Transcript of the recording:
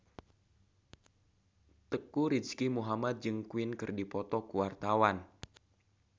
Teuku Rizky Muhammad jeung Queen keur dipoto ku wartawan